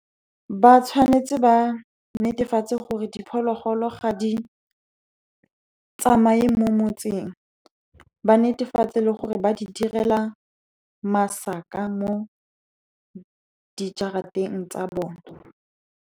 Ba tshwanetse ba netefatse gore diphologolo ga di tsamaye mo motseng. Ba netefatse gore ba di direla masaka mo di jarateng tsa bone.